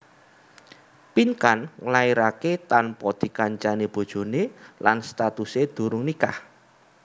Pinkan nglairaké tanpa dikancani bojoné lan statusé durung nikah